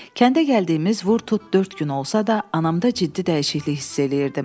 Kəndə gəldiyimiz vurdu tut dörd gün olsa da, anamda ciddi dəyişiklik hiss eləyirdim.